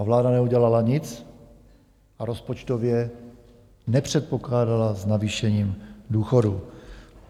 A vláda neudělala nic a rozpočtově nepředpokládala s navýšením důchodů.